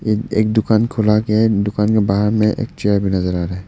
एक दुकान खोला गया है एक दुकान के बाहर में एक चेयर भी नजर आ रहा है।